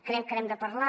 crec que n’hem de parlar